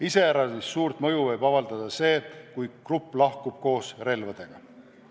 Iseäranis suurt mõju võib avaldada see, kui grupp lahkub koos relvadega.